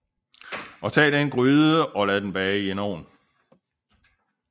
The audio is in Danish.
Og tag den gryde og lad bage i en ovn